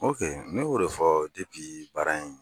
Awɔ kɛ ne y'o de fɔ baara in.